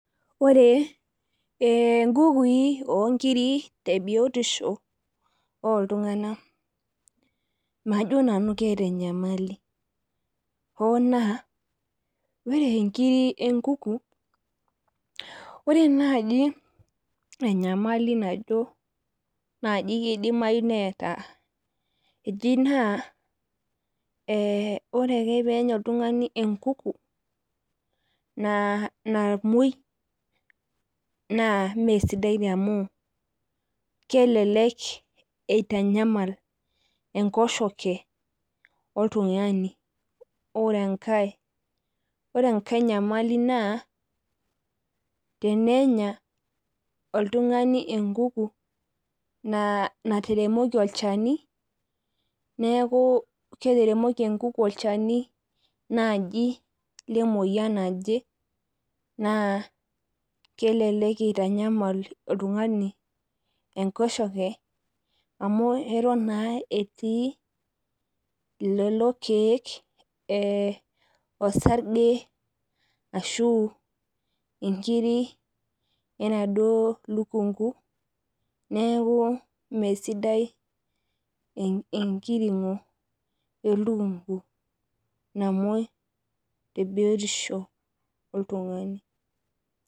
Ore nkukui onkiri tebatisho oltunganak majo nanu keeta enyamali, hoo naa ore nkiri enkuku, ore naaji enyamali najo keidimayu naaji neeta naa ore ake pee enya oltungani enkuku namwoi naa mesidai amu kelelek eitanyama enkoshoke oltungani. Ore enkae nyamali naa tenenya oltungani enkuku nateremoki olchani, neeku ketaremoki enkuku olchani naaji lemeyian naje naa kelelek eitanyamal otungani enkoshoke amu etoin anaa etii lelo keek orsarge ashu nkiri enaduo lukunku neeku mee sidai enkirgo elukunku namwoi tebiotisho oltungani.